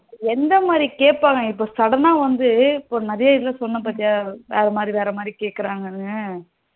எந்த மாதிரி கேப்பாங்க இப்போ sudden ஆ வந்து இப்போ நிறைய இடத்துல வந்து சொன்ன பாத்தியா வேற மாதிரி வேற மாதிரி கேக்குறாங்கணு